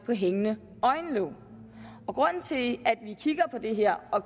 med hængende øjenlåg og grunden til at vi kigger på det her og